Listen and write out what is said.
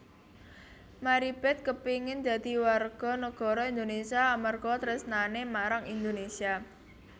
Maribeth kepingin dadi warga negara Indonesia amarga tresnane marang Indonesia